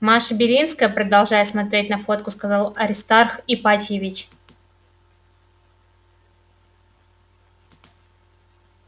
маша белинская продолжая смотреть на фотку сказал аристарх ипатьевич